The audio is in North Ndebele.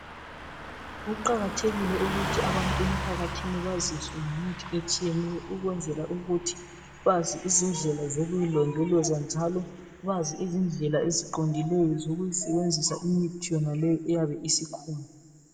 Kuqakathekile ukuthi abantu emphakathini baziswe imithi etshiyeneyo ukwenzela ukuthi bazi izindlela zokuyilondoloza njalo bazi izindlela eziqondileyo zokuyisebenzisa imithi yonaleyi eyabe isikhona.